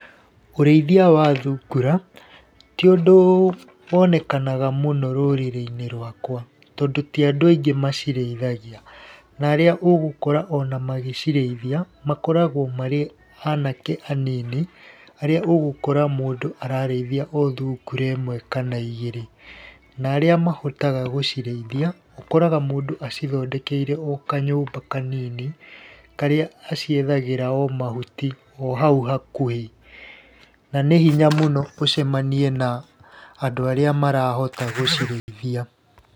Ũrĩithia wa thungura ti ũndũ wonekanaga mũno rũrĩrĩ-inĩ rwakwa, tondũ ti andũ aingĩ macirĩithagia, na arĩa ũgũkora ona magĩcirĩithia makoragwo marĩ anake anini, arĩa ũgũkora mũndũ ararĩithia o thungura ĩmwe kana igĩrĩ na arĩa mahotaga gũcirĩithia ũkoraga mũndũ acithondekeire o kanyũmba kanini, karĩa aciethagĩra o mahuti o hau hakuhĩ. Na nĩ hinya mũno ũcemanie na andũ arĩa marahota gũcirĩithia.